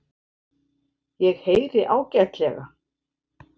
Ég heyri ágætlega.